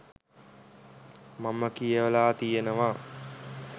මම කියවල තියෙනවා.